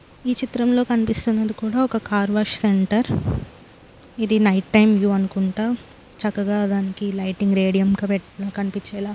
ఈ చిత్రంలో కనిపిస్తున్నది కూడా ఒక కార్ వాష్ సెంటర్ . ఇది నైట్ టైం వ్యూ అనుకుంటా. చక్కగా దానికి లైటింగ్ రేడియం కనిపించేలా--